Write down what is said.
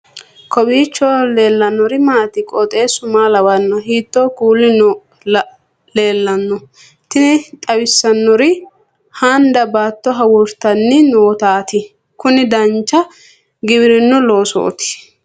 kowiicho leellannori maati ? qooxeessu maa lawaanno ? hiitoo kuuli leellanno ? tini xawissannori handa baatto hawuurtanni nootaati kuni dancha giwirinnu loossooti